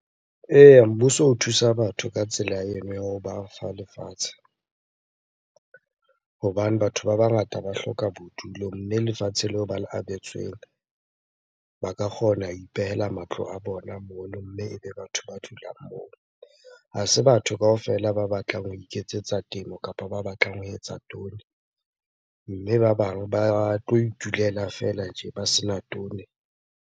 Eya, mmuso o thusa batho ka tsela eno ya hoba fa lefatshe. Hobane batho ba bangata ba hloka bodulo, mme lefatshe leo ba le abetsweng ba ka kgona ho ipehela matlo a bona mono mme ebe batho ba dulang moo. Ha se batho kaofela ba batlang ho iketsetsa temo kapa ba batlang ho etsa . Mme ba bang ba tlo itulela feela tje ba sena .